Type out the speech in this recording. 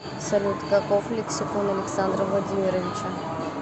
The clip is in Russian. салют каков лексикон александра владимировича